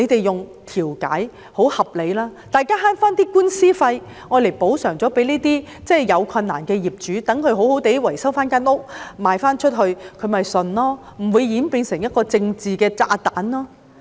用調解方法很合理，大家省回打官司的費用，向這些有困難的人士作出補償，讓他們維修房屋後再出售，他們便服氣，不會演變成一個"政治炸彈"。